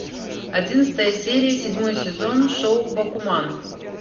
одиннадцатая серия седьмой сезон шоу бакуман